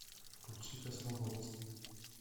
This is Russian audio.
включи космобольцы